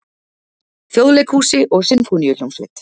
Þjóðleikhúsi og Sinfóníuhljómsveit.